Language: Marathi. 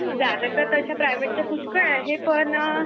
जागा तर तश्या प्रायव्हेटच्या पुष्कळ आहेत पण